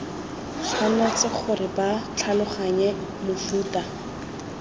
tshwanetse gore ba tlhaloganye mofuta